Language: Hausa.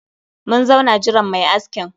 Mun zauna jiran mai askin